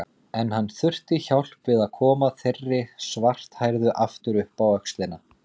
En hann þurfti hjálp við að koma þeirri svarthærðu aftur upp á öxlina.